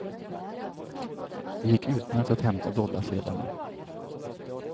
Det gick utmärkt att hämta dollarsedlarna.